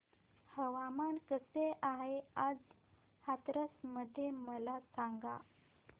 हवामान कसे आहे आज हाथरस मध्ये मला सांगा